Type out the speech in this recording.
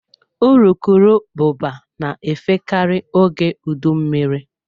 Urukurubụba na-efe karị oge udu mmiri.